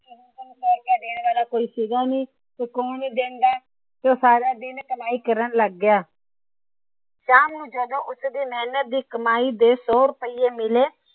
ਓਹਨੂੰ ਸੋ ਰੁਪਇਆ ਦੇਣ ਵਾਲਾ ਕੋਈ ਸੀ ਗਾਂ ਨਹੀਂ। ਕੌਣ ਦੇਂਦਾ? ਉਹ ਸਾਰਾ ਦਿਨ ਕਮਾਈ ਕਰਨ ਲੱਗ ਗਿਆ। ਸ਼ਾਮ ਨੂੰ ਜਦੋ ਉਸਦੀ ਮੇਹਨਤ ਦੀ ਕਮਾਈ ਦੇ ਸੋ ਰੁਪਏ ਮਿਲੇ